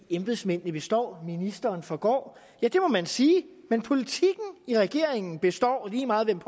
embedsmændene består ministeren forgår ja det må man sige men politikken i regeringen består lige meget hvem